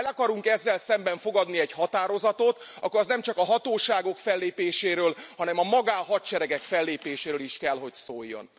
Ha el akarunk ezzel szemben fogadni egy határozatot, akkor az nemcsak a hatóságok fellépéséről, hanem a magánhadseregek fellépéséről is kell, hogy szóljon.